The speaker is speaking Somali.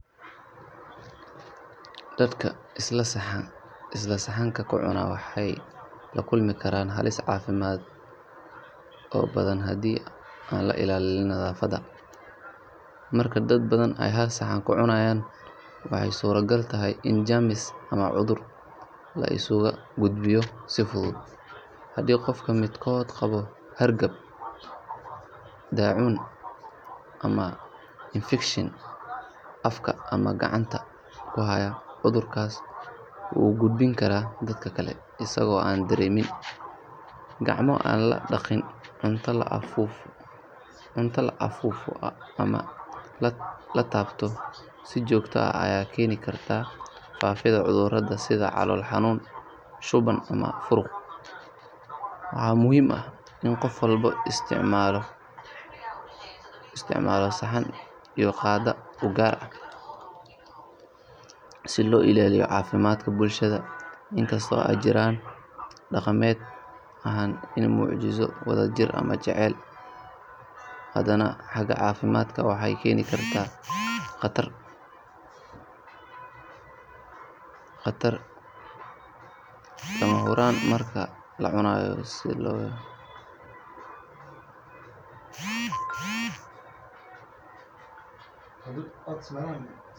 Dadka isla saxanka ka cuna waxay la kulmi karaan halis caafimaad oo badan haddii aan la ilaalin nadaafadda. Marka dad badan ay hal saxan ka cunayaan waxay suuragal tahay in jeermis ama cudur la isugu gudbiyo si fudud. Haddii qofka midkood qabo hargab, daacuun, ama infekshan afka ama gacmaha ku haya, cudurkaas wuu u gudbin karaa dadka kale isagoo aan dareemin. Gacmo aan la dhaqin, cunto la afuufo ama la taabto si joogto ah ayaa keeni karta faafidda cudurrada sida calool xanuun, shuban ama furuq. Waxaa muhiim ah in qof walba isticmaalo saxan iyo qaaddo u gaar ah si loo ilaaliyo caafimaadka bulshada. In kasta oo ay jirto dhaqameed ahaan inay muujiso wadajir ama jacayl, haddana xagga caafimaadka waxay keeni kartaa khatar haddii aan si wacan loo maareyn. Nadaafadda waa lama huraan marka la cunayo si loo yareeyo cudurrada.